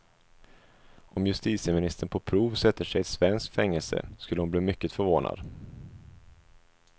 Om justitieministern på prov sätter sig i ett svenskt fängelse skulle hon bli mycket förvånad.